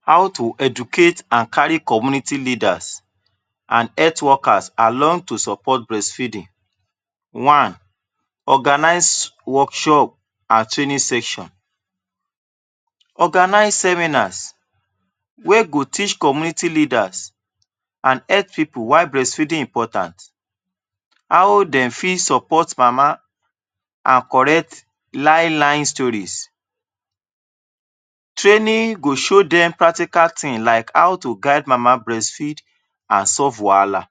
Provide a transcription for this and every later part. How to educate and kari community leaders and health workers along to support breastfeeding One: organize workshop and training sections, organize seminers wey go teach community leaders and health pipul why breastfeeding is important and how dem fit support mama and correct line-line story, training go show practical tin like how guide mama breast feeding and solve wahala.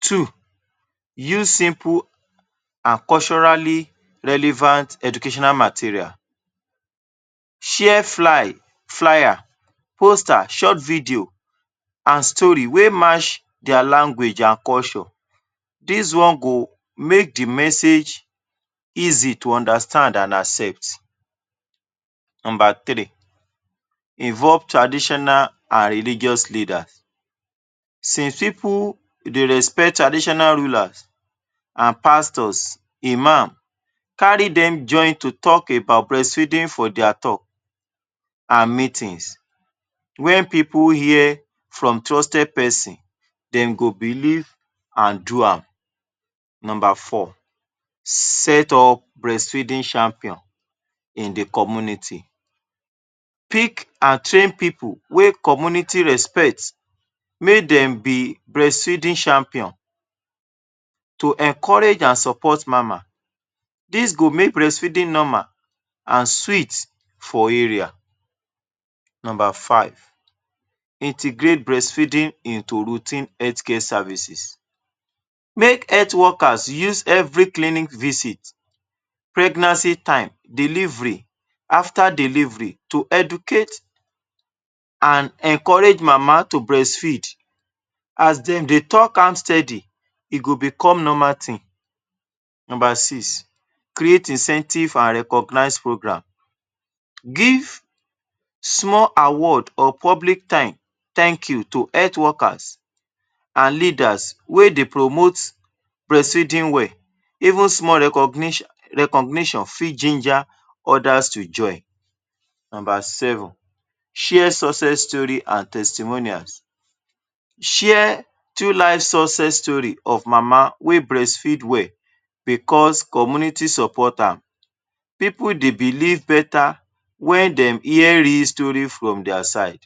Two: use simple and culturally educational material, share flyer, poster short video and story wey mach dia language and culture dis one go make the message easy to understand and accept Number three: involve traditional and religious leaders, since pipul dey respect traditional rulers, pastors, imam, kari dem join to talk about breastfeeding for dia talk and meetings, when pipul hear from trusted persons dem go belief and do am Number four: set up breastfeeding champion in the community, pick and train pipul wey community respect mey dem be breastfeeding champion to encourage and support mama, dis go help breastfeeding normal and sweet for area, Number five: integrate breast feeding into routine health care services, make health workers use clinic visit, pregnancy time, delivery, after delivery to educate and encourage mama to breast feed as dem dey talk am steady, e go become normal tin. Number six: create incentive and recognize programme, give small award or public tank you to health workers and leaders wey dey promote breast feeding well, even small recognition fit ginger others to join. Share success stories and testimonials, share true life success story of mama wey breast feed well because community support am, pipul dey belief beta wen dey hear real story from dia side.